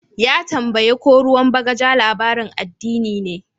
Ya tambaye ko ruwan bagaja labarin addini ne.